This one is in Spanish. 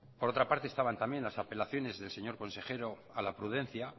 por otra parte estaban también las apelaciones del señor consejero a la prudencia